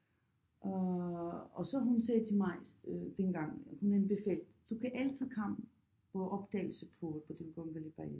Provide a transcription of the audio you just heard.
Og og så hun sagde til mig øh dengang hun anbefal du kan altid komme på optagelse på på den kongelige ballet